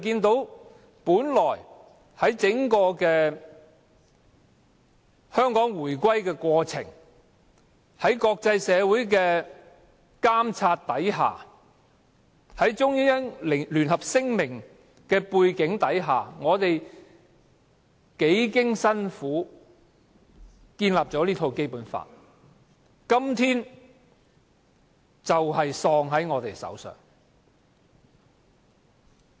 在香港的回歸過程中，我們幾經辛苦，根據《中英聯合聲明》在國際社會的監察下建立《基本法》，但《基本法》今天竟斷送在我們手上。